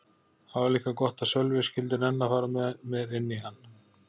Það var líka gott að Sölvi skyldi nenna að fara með mér inn í hann.